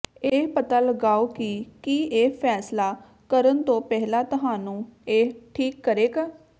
ਇਹ ਪਤਾ ਲਗਾਓ ਕਿ ਕੀ ਇਹ ਫੈਸਲਾ ਕਰਨ ਤੋਂ ਪਹਿਲਾਂ ਤੁਹਾਨੂੰ ਇਹ ਠੀਕ ਕਰੇਗਾ